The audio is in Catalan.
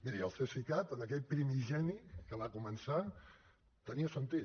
miri el cesicat en aquell primigeni que va començar tenia sentit